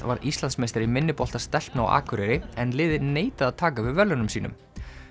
varð Íslandsmeistari í minnibolta stelpna á Akureyri en liðið neitaði að taka við verðlaunum sínum